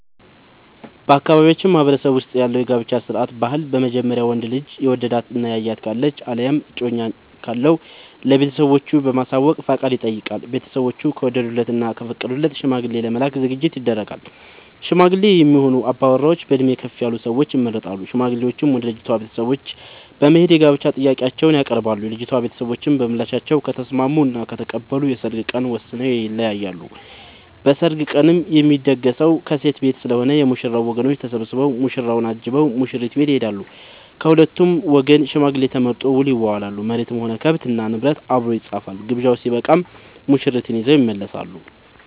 በአካባቢያችን ማህበረሰብ ውስጥ ያለው የጋብቻ ስርዓት/ ባህል በመጀመሪያ ወንዱ ልጅ የወደዳት እና ያያት ካለች አለያም ደግሞ እጮኛ ካለው ለቤተሰቦቹ በማሳወቅ ፍቃድ ይጠይቃል። ቤተስቦቹ ከወደዱለት እና ከፈቀዱለት ሽማግሌ ለመላክ ዝግጅት ይደረጋል። ሽማግሌ የሚሆኑ አባወራዎች በእድሜ ከፍ ያሉ ሰዎች ይመረጣሉ። ሽማግሌዎቹም ወደ ልጅቷ ቤተሰቦች በት በመሄድ የጋብቻ ጥያቄአቸውን ያቀርባሉ። የልጂቷ ቤተሰቦችም በምላሻቸው ከተስምስሙ እና ከተቀበሉ የሰርግ ቀን ወስነው ይለያያሉ። በሰርጉ ቀንም የሚደገሰው ከሴት ቤት ስለሆነ የ ሙሽራው ወገኖች ተሰብስቧ ሙሽራውን አጅበው ሙሽሪት ቤት ይሄዳሉ። ከሁለቱም ወገን ሽማግሌ ተመርጦ ውል ይዋዋላሉ መሬትም ሆነ ከብት እና ንብረት አብሮ ይፃፋል። ግብዣው ስበቃም ሙሽርትን ይዘው ይመለሳሉ።